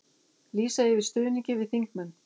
Lýsa yfir stuðningi við þingmenn